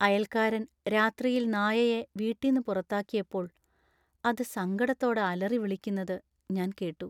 അയൽക്കാരൻ രാത്രിയിൽ നായയെ വീട്ടിന്ന് പുറത്താക്കിയപ്പോൾ അത് സങ്കടത്തോടെ അലറിവിളിക്കുന്നത് ഞാൻ കേട്ടു .